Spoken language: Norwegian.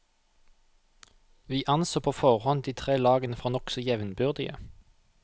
Vi anså på forhånd de tre lagene for nokså jevnbyrdige.